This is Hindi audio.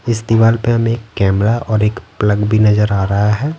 इस दीवार पे हमें एक कैमरा और एक प्लग भी नजर आ रहा है।